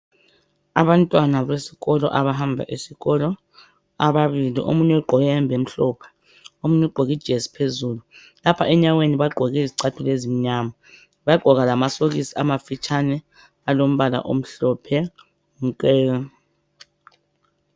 Abantwana besikolo abahamba esikolo ababili. Omunye ugqoke ihembe emhlophe. Omunye ugqoke ijezi phezulu. Lapha enyaweni bagqoke izicathulo ezimnyama. Bagqoka lamasokisi amafitshane alombala omhlophe nke.